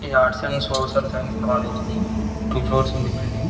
ఇది arts and college ఇది two floors ఉంది బిల్డింగ్ --